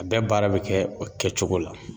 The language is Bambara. A bɛɛ baara bɛ kɛ o kɛcogo la.